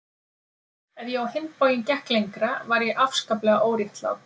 Ef ég á hinn bóginn gekk lengra var ég afskaplega óréttlát.